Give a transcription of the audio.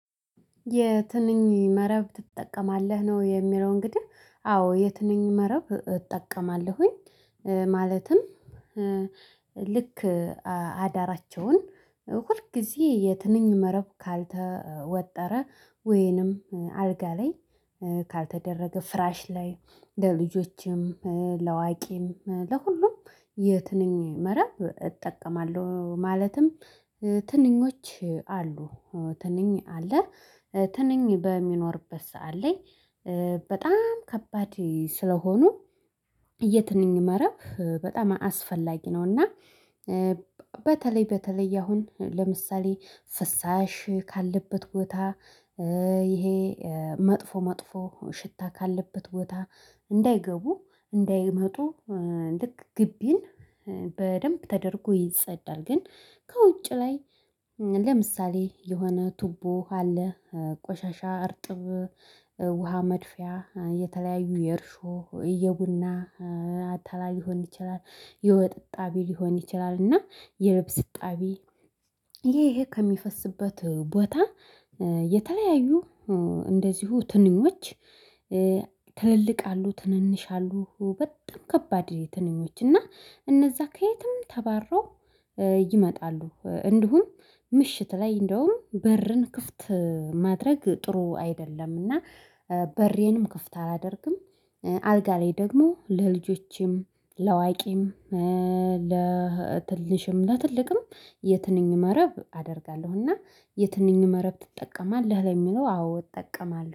የትንኝ መረብ ትጠቀማለህ? ነው የሚለው እንግዲህ። አዎ የትንኝ መረብ እጠቀማለሁኝ። ማለትም ልክ አዳራቸውን ሁል ጊዜ የትንኝ መረብ ካልተወጠረ ወይንም አልጋ ላይ ካልተደረገ ፍራሽ ላይ ለልጆችም ለአዋቂም ለሁሉም የትንኝ መረብ እጠቀማለሁ። ማለትም ትንኞች አሉ። ትንኝ አለ። ትንኝ በሚኖርበት ሰዓት ላይ በጣም ከባድ ስለሆኑ የትንኝ መረብ በጣም አስፈላጊ ነው። እና በተለይ በተለይ አሁን ለምሳሌ ፍሳሽ ካለበት ቦታ ይሄ መጥፎ መጥፎ ሽታ ካለበት ቦታ እንዳይገቡ እንዳይመጡ ልክ ግቢን በደንብ ተደርጎ ይጸዳል። ግን ከውጭ ላይ ለምሳሌ የሆነ ቱቦ አለ። ቆሻሻ እርጥብ ውሃ መድፊያ፣ የተለያዩ የእርሾ የቡና አተላል ሊሆን ይችላል የወጥ እጣቢ ሊሆን ይችላል እና የልብስ እጣቢ ይሄ ይሄ ከሚፈስበት ቦታ የተለያዩ እንደዚሁ ትንኞች ትልልቅ አሉ ትንንሽ አሉ በጣም ከባድ ትንኞች እና እነዛ ከየትም ተባረው ይመጣሉ። እንዲሁም ምሽት ላይ እንደውም በርን ክፍት ማድረግ ጥሩ አይደለም። እና በሬንም ክፍት አላደርግም። አልጋ ላይ ደግሞ ለልጆችም፣ ለአዋቂም፣ ለትንሽም፣ ለትልቅም የትንኝ መረብ አደርጋለሁ። እና የትንኝ መረብ ትጠቀማለህ? ለሚለው አዎ እጠቀማለሁ።